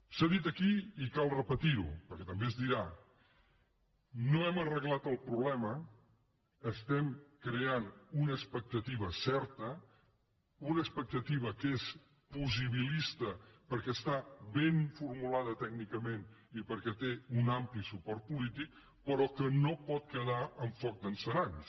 s’ha dit aquí i cal repetir ho perquè també es dirà no hem arreglat el problema estem creant una expectativa certa una expectativa que és possibilista perquè està ben formulada tècnicament i perquè té un ampli suport polític però que no pot quedar en foc d’encenalls